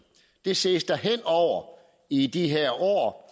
det ses der i de her år